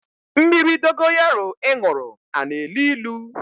Mmiri dogoyaro ị ṅụrụ a na-elu ilu?